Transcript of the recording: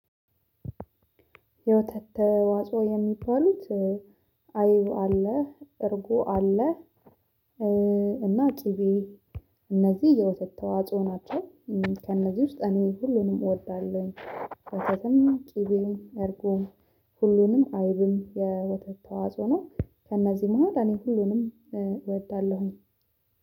የወተት ተዋጾ የሚባሉት አይብ አለ እርጉ አለ። እና ኪቤ እነዚህ የወተት ተዋጽኦ ናቸው። ከእነዚህ ውስጥ እኔ ሁሉንም እወዳለሁኝ። ወተትም ቅቤውም አድርጎም ሁሉንም አይብም የወተት ተዋጽ ነው። ከእነዚህ መሃል እኔ ሁሉንም እወዳለሁኝ